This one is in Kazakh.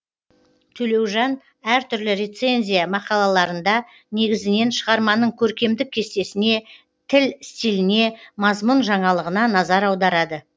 төлеужан әр түрлі рецензия мақалаларында негізінен шығарманың көркемдік кестесіне тіл стиліне мазмұн жаңалығына назар аударады